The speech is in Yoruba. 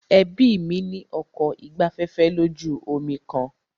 Ẹbí mí ní ọkọ̀ ìgbafẹ́fẹ́ lójú omi kan.